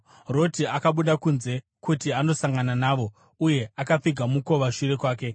Roti akabuda kunze kuti andosangana navo uye akapfiga mukova shure kwake,